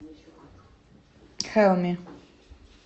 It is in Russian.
хелми